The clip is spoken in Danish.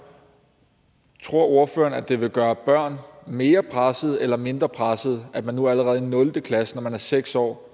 tror ordføreren at det vil gøre børn mere pressede eller mindre pressede at man nu allerede i nul klasse når man er seks år